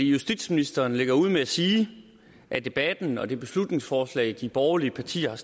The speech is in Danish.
justitsministeren lægger ud med at sige at debatten og det beslutningsforslag de borgerlige partier har